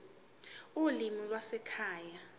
ulimi lwasekhaya p